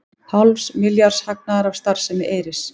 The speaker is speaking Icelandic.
Hálfs milljarðs hagnaður af starfsemi Eyris